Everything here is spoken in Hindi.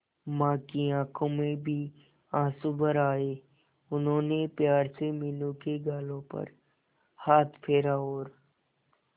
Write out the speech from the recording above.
मां की आंखों में भी आंसू भर आए उन्होंने प्यार से मीनू के गालों पर हाथ फेरा और